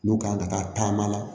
N'u kan ka taama la